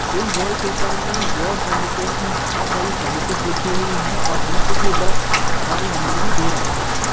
इस वॉलपेपर में your services में बहुत सारी सर्विसेज लिखी हुई हैं और नीचे की तरफ कॉल नंबर भी दे रखे हैं।